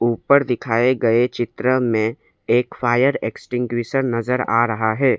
ऊपर दिखाए गए चित्र में एक फायर नजर आ रहा है।